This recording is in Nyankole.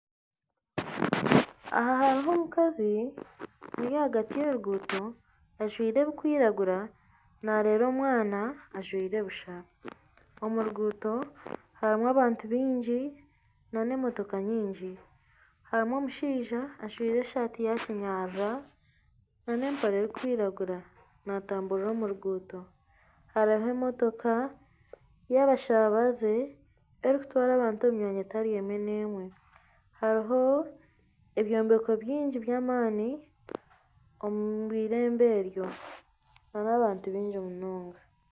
Aha hariho omukazi ori ahagati y'enguuto ajwaire ebikwiragura nareera omwana ajwaire busha omu ruguuto harimu abantu bingi n'emotooka nyingi harimu omushaija ajwaire esaati y'eminyarara n'empare erikwiragura natamburira omu ruguuto hariho emotooka ya abashabaze erikutwara abantu omu mwanya etari emwe n'emwe hariho ebyombeko byingi by'amaani omu irembo eryo harimu abantu bingi munonga.